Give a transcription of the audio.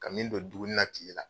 Ka min don duguni na tiye la